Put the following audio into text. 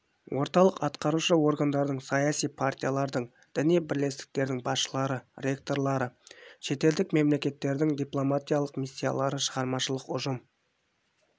орталық атқарушы органдардың саяси партиялардың діни бірлестіктердің басшылары ректорлары шетелдік мемлекеттердің дипломатиялық миссиялары шығармашылық ұжым